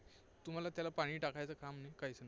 तुम्हाला त्याला पाणी टाकायचं काम नाही, काहीच नाही.